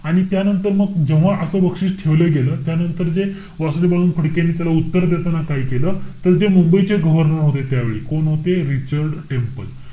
आणि त्या नंतर मग जेव्हा असं बक्षीस ठेवलं गेलं, त्यानंतर जे वासुदेव बळवंत फडकेंनी त्याला उत्तर देताना काय केलं? तर जे मुंबईचे governor होते त्यावेळी. कोण होते? Richard temple.